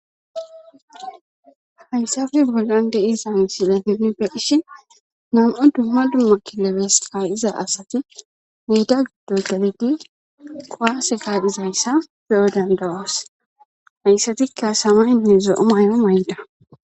Hayssan bollan be'iza missileti nam7u dumma dumma kileebeti kuwaase asati gidobgellidi kuwase ka'izaysa beyo danda'es haysatika ayne zo'o maydday